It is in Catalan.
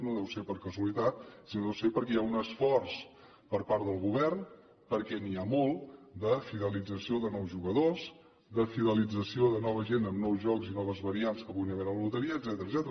no deu ser per casualitat sinó deu ser perquè hi ha un esforç per part del govern perquè n’hi ha molt de fidelització de nous jugadors de fidelització de nova gent amb nous jocs i noves variants de la loteria etcètera